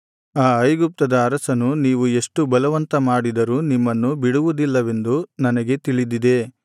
ಆ ಐಗುಪ್ತದ ಅರಸನು ನೀವು ಎಷ್ಟು ಬಲವಂತ ಮಾಡಿದರೂ ನಿಮ್ಮನ್ನು ಬಿಡುವುದಿಲ್ಲವೆಂದು ನನಗೆ ತಿಳಿದಿದೆ